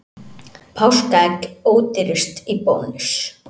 Páskaegg ódýrust í Bónus